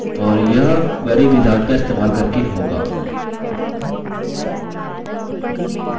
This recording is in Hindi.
और यह query wizard का इस्तेमाल करके होगा